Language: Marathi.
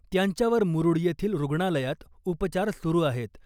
त्यांच्यावर मुरूड येथील रुग्णालयात उपचार सुरू आहेत .